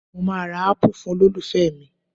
Mo máa ra Ápù fún olólùfẹ́ mi